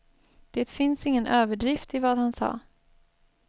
Det finns ingen överdrift i vad han sa.